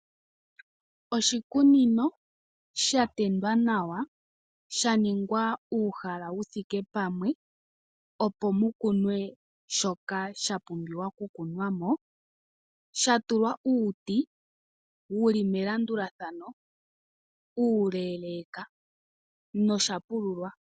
Iikunino yimwe ohayi kala yatendwa nawa yaningwa uuhala wuthike pamwe, opo mukunwe shoka sha pumbwa okukunwa mo shatulwa uuti wuli melandulathano uuleleka nohashi kala sha pululwa.